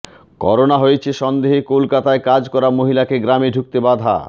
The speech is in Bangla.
করোনা হয়েছে সন্দেহে কলকাতায় কাজ করা মহিলাকে গ্রামে ঢুকতে বাধা